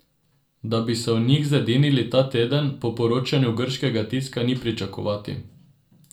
Da bi se o njih zedinili ta teden, po poročanju grškega tiska ni pričakovati.